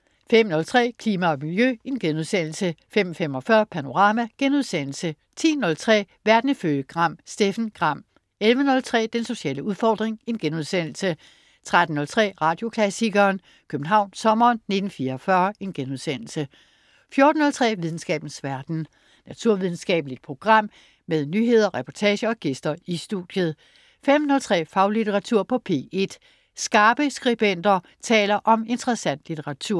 05.03 Klima og Miljø* 05.45 Panorama* 10.03 Verden ifølge Gram. Steffen Gram 11.03 Den sociale udfordring* 13.03 Radioklassikeren: København sommeren 1944* 14.03 Videnskabens verden. Naturvidenskabeligt program med nyheder, reportager og gæster i studiet 15.03 Faglitteratur på P1. Skarpe skribenter taler om interessant litteratur